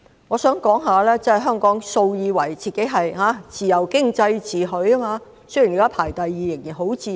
我想指出，香港素來以自由經濟自詡，雖然現時排名第二，仍然十分自由。